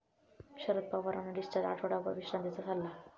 शरद पवारांना डिस्चार्ज, आठवडाभर विश्रांतीचा सल्ला